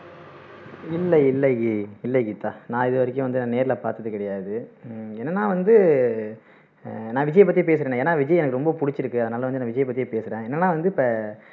இல்ல இல்ல ஜி இல்ல கீதா நான் இது வரைக்கும் வந்து நேர்ல பாத்தது கிடையாது உம் என்னன்னா வந்து ஆஹ் நான் விஜயை பத்தி பேசுறேனே ஏன்னா எனக்கு விஜயை ரொம்ப புடிச்சுருக்கு அதனால வந்து நான் விஜயை பத்தியே பேசுறேன். என்னன்னா வந்து இப்போ